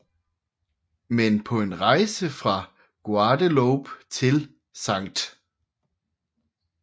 Men på en rejse fra Guadeloupe til St